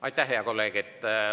Aitäh, hea kolleeg!